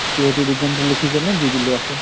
ত সেইটো reason তো লুখি কেনে দি দিলো আকৌ।